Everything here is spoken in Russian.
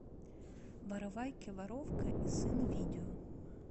воровайки воровка и сын видео